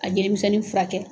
A jelimisɛnnin furakɛ.